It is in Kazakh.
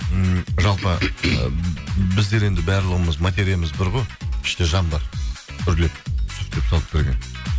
м жалпы біздер енді барлығымыз материямыз бір ғой іште жан бар үрлеп сөйтіп салып берген